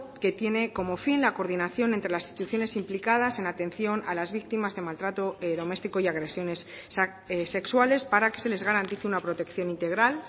que tiene como fin la coordinación entre las instituciones implicadas en atención a las víctimas de maltrato doméstico y agresiones sexuales para que se les garantice una protección integral